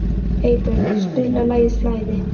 Eybjörg, spilaðu lagið „Flæði“.